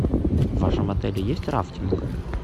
в вашем отеле есть рафтинг